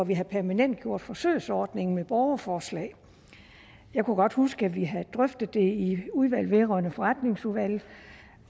ville permanentgøre forsøgsordningen med borgerforslag jeg kunne godt huske at vi havde drøftet det i udvalget vedrørende forretningsordenen